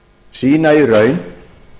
sýna í raun